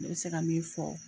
N bɛ se ka min fɔ